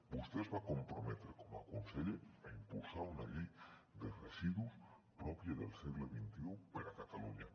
vostè es va comprometre com a conseller a impulsar una llei de residus pròpia del segle xxi per a catalunya